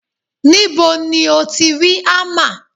Níbo ti o ti rí hámà?